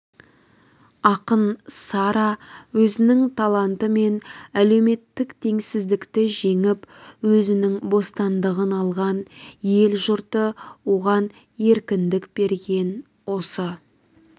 ақын сара өзінің талантымен әлеуметтік теңсіздікті жеңіп өзінің бостандығын алған ел-жұрты оған еркіндік берген осы